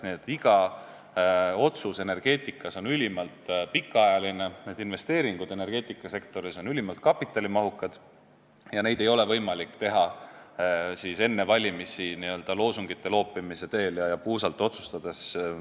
Nii et iga otsus energeetikas on ülimalt pikaajaline, investeeringud energeetikasektoris on ülimalt kapitalimahukad ja neid ei ole võimalik teha enne valimisi n-ö loosungite loopimise teel ja puusalt tulistades.